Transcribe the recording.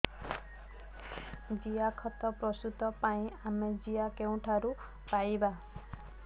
ଜିଆଖତ ପ୍ରସ୍ତୁତ ପାଇଁ ଆମେ ଜିଆ କେଉଁଠାରୁ ପାଈବା